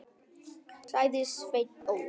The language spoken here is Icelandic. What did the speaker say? sagði Sveinn Óli.